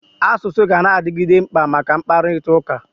Asụsụ ganadigide mkpa maka mkpakụrịta ụka.